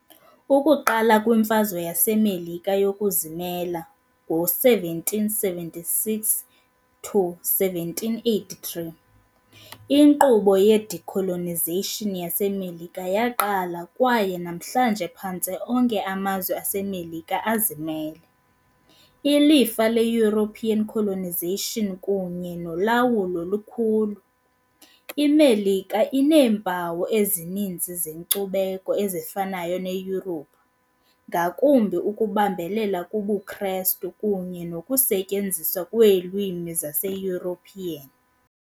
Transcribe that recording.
Ukuqala kwiMfazwe yaseMelika yokuzimela, 1776 to 1783, inkqubo ye-decolonization yaseMelika yaqala kwaye namhlanje phantse onke amazwe aseMerika azimele. Ilifa le-European colonization kunye nolawulo likhulu - IMelika ineempawu ezininzi zenkcubeko ezifanayo neYurophu, ngakumbi ukubambelela kubuKristu kunye nokusetyenziswa kweelwimi zaseEuropean.